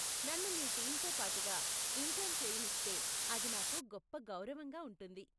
నన్ను మీ టీంతో పాటుగా ఇంటర్న్ చేయనిస్తే అది నాకు గొప్ప గౌరవంగా ఉంటుంది.